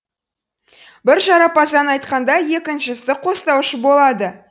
бірі жарапазан айтқанда екіншісі қостаушы болады